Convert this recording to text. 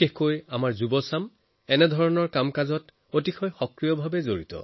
আমাৰ যুৱ প্ৰজন্ম এনেকুৱা কাৰ্যত বহুত আগভাগ লৈ সক্ৰিয় হয়